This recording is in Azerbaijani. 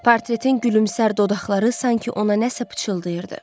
Portretin gülümsər dodaqları sanki ona nəsə pıçıldayırdı.